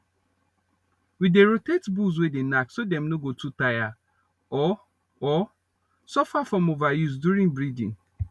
we dey rotate bulls way dey knack so dem no go too tire or or suffer from overuse during breeding